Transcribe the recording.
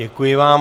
Děkuji vám.